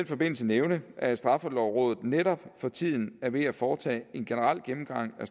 forbindelse nævne at straffelovrådet netop for tiden er ved at foretage en generel gennemgang af